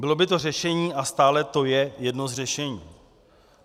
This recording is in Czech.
Bylo by to řešení a stále to je jedno z řešení.